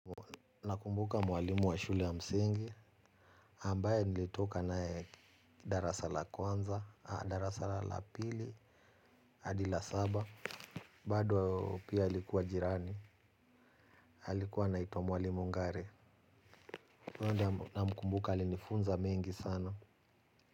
Na kumbuka mwalimu wa shule ya msingi. Ambaye nilitoka nae darasa la kwanza, darasa lapili, adi la saba. Bado pia alikuwa jirani. Halikuwa anaitua mwalimu ngare. Namkumbuka alinifunza mengi sana.